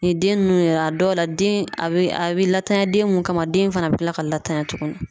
Ni den nunnu yɛrɛ a dɔw la den a bɛ a bɛ latanya den mun kama den fana bɛ kila ka latanya tuguni.